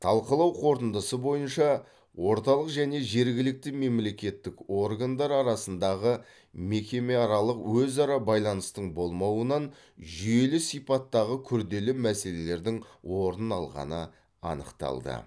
талқылау қорытындысы бойынша орталық және жергілікті мемлекеттік органдар арасындағы мекемеаралық өзара байланыстың болмауынан жүйелі сипаттағы күрделі мәселелердің орын алғаны анықталды